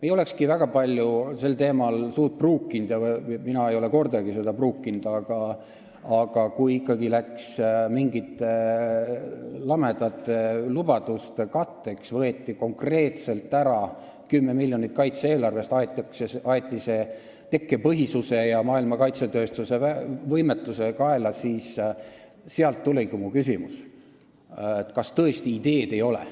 Ei olekski väga palju sel teemal suud pruukinud – ja mina ei ole kordagi seda pruukinud –, aga kui võeti ikkagi konkreetselt kaitse-eelarvest ära 10 miljonit, see läks mingite lamedate lubaduste katteks, aga aeti tekkepõhisuse ja maailma kaitsetööstuse võimetuse kaela, siis sealt tuligi mu küsimus, kas tõesti ideed ei ole.